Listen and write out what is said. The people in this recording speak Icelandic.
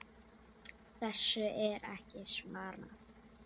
Það fór hrollur um Lalla.